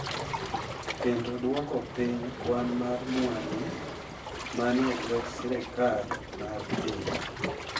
Kendo dwoko piny kwan mar mwandu ma ni e lwet sirkal mar piny.